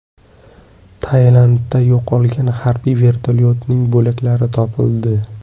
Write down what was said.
Tailandda yo‘qolgan harbiy vertolyotning bo‘laklari topildi.